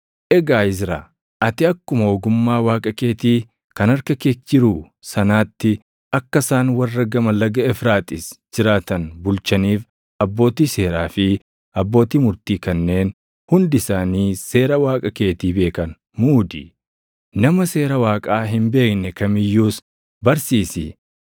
Egaa Izraa, ati akkuma ogummaa Waaqa keetii kan harka kee jiru sanaatti akka isaan warra Gama Laga Efraaxiis jiraatan bulchaniif abbootii seeraa fi abbootii murtii kanneen hundi isaanii seera Waaqa keetii beekan muudi. Nama seera Waaqaa hin beekne kam iyyuus barsiisi.